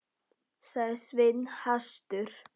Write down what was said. sagði Svenni hastur.